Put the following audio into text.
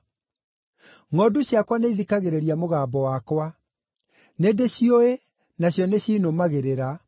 Ngʼondu ciakwa nĩithikagĩrĩria mũgambo wakwa; nĩndĩciũĩ, nacio nĩcinũmagĩrĩra.